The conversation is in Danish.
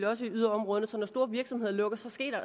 også i yderområderne sådan store virksomheder lukker